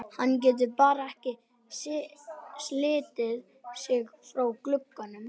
Hann getur bara ekki slitið sig frá glugganum.